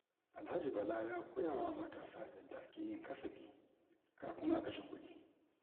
Alhaji Bala ya koya wa matasa yadda ake yin kasafi kafin a kashe kuɗi.